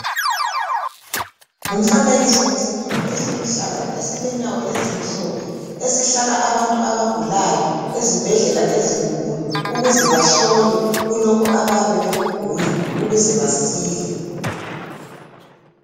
Ngumfanekiso wesithulo esiluhlaza ,esilenyawo ezimhlophe. Esihlala abantu abagulayo ezibhedlela ezinkulu. Ukuze bahlolwe kulokho abayabe bekugula ,ukuze basile.